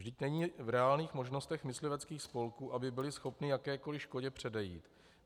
Vždyť není v reálných možnostech mysliveckých spolků, aby byly schopny jakékoli škodě předejít.